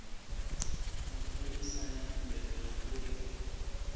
mapholisa na khumbelo ya uri